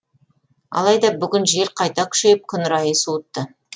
алайда бүгін жел қайта күшейіп күн райы суытты